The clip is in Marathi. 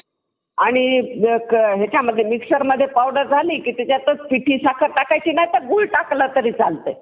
inspetion बद्दल माहिती नाही तर.